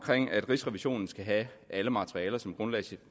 rigsrevisionen skal have alle materialer som grundlag